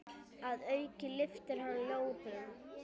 Að auki lyftir hann lóðum.